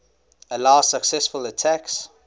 allow successful attacks